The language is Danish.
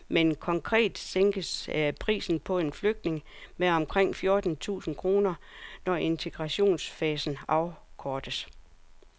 Hvor stor besparelsen bliver er uvist, men konkret sænkes prisen på en flygtning med omkring fjorten tusind kroner, når integrationsfasen afkortes.